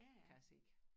Kan jeg se